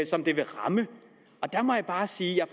som det vil ramme der må jeg bare sige at